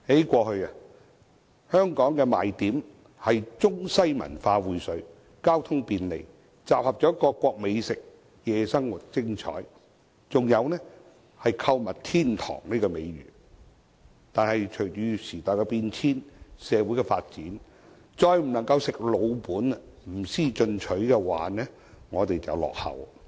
過去，香港的賣點是中西文化薈萃、交通便利、各國美食雲集、夜生活精彩，還有購物天堂的美譽；但隨着時代變遷，社會發展，我們不能再"吃老本"，不思進取，否則便會落後。